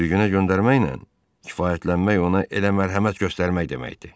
Sürgünə göndərməklə kifayətlənmək ona elə mərhəmət göstərmək deməkdir.